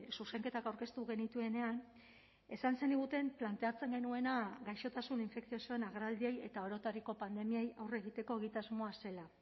zuzenketak aurkeztu genituenean esan zeniguten planteatzen genuena gaixotasun infekziosoen agerraldiei eta orotariko pandemiei aurre egiteko egitasmoa zela